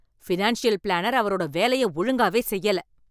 Financial planner அவரோட வேலைய ஒழுங்காவே செய்யல.